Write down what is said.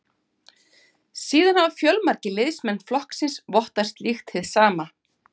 Síðan hafa fjölmargir liðsmenn flokksins vottað slíkt hið sama.